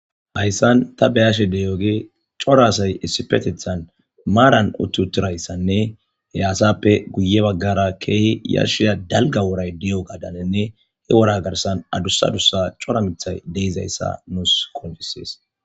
hayssan ta beyashe de yooge corasay issi petethan maaran uttutirayssanne he aasappe guye baggara keehi yashia dalga woray di'o gadanenne he wora garsan adussaqdussa cora mithay deizayssa nuus konfisees